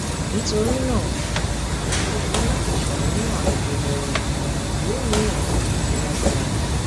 nítorí náà o kò ní láti ṣàníyàn àrùn jẹjẹrẹ yóò ní àwọn àmì tó lágbára